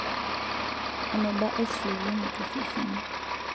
Eneba estrojeni tosesen.